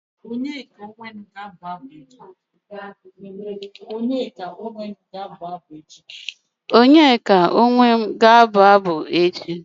Onyeka Onwenu ga-abụ echi.